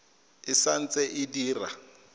e sa ntse e dira